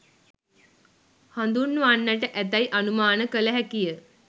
හඳුන්වන්නට ඇතැයි අනුමාන කළ හැකිය.